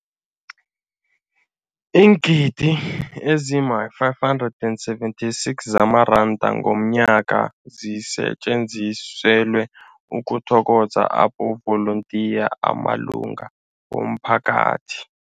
Iingidi ezima-576 zamaranda ngomnyaka zisetjenziselwa ukuthokoza amavolontiya amalunga womphakathi.